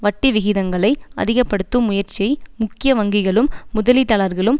வட்டிவிகிதங்களை அதிக படுத்தும் முயற்சியை முக்கிய வங்கிகளும் முதலீட்டாளர்களும்